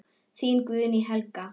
Þín Guðný Helga.